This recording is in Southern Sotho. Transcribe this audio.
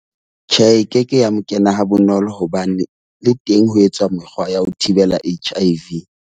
Tjhe, e keke ya mo kena ha bonolo hobane le teng ho etswa mekgwa ya ho thibela H_I_V.